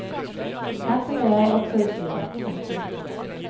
Her sitter jeg også i styret. punktum